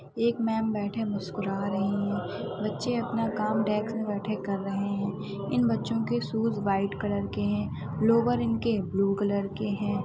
'' एक मैम बैठे मुस्कुरा रहे है बच्चे अपना काम डेस्क पे बैठे कर रहे है इन बच्चों के शूज वाइट कलर के है लोवर इनके ब्लू कलर के है ।''